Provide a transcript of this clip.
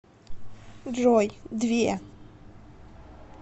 джой две